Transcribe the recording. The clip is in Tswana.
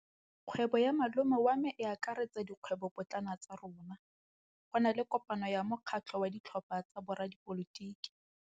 Kgwêbô ya malome wa me e akaretsa dikgwêbôpotlana tsa rona. Go na le kopanô ya mokgatlhô wa ditlhopha tsa boradipolotiki.